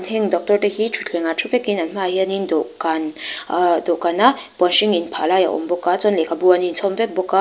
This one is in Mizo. heng doctor te hi thutthlengah thu vekin an hmaah hianin dawhkan ahh dawhkana puan hring inphah lai a awm bawk a chuan lehkhabu an inchhawm vek bawk a.